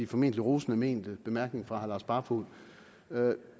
formentlig rosende mente bemærkning fra herre lars barfoed